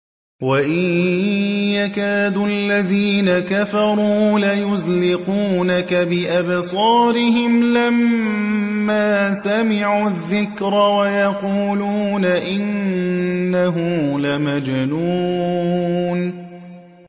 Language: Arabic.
وَإِن يَكَادُ الَّذِينَ كَفَرُوا لَيُزْلِقُونَكَ بِأَبْصَارِهِمْ لَمَّا سَمِعُوا الذِّكْرَ وَيَقُولُونَ إِنَّهُ لَمَجْنُونٌ